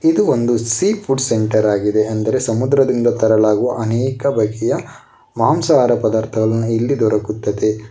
ಇದು ಒಂದು seafood centre ಆಗಿದೆ ಅಂದ್ರೆ ಸಮುದ್ರದಿಂದ ತರಲಾಗುವ ಅನೇಕ ಬಗೆಯ ಮಾಂಸಹಾರ ಪದಾರ್ಥಗಳನ್ನ ಇಲ್ಲಿ ದೊರಕುತ್ತದೆ.